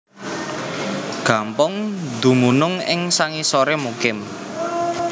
Gampong dumunung ing sangisoré Mukim